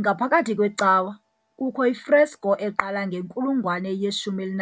Ngaphakathi kwecawa kukho i-fresco eqala ngenkulungwane ye-11